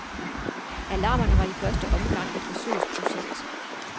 Alarmerne var i første omgang et forsøgsprojekt.